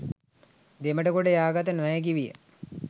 දෙමටගොඩට යාගත නොහැකි විය.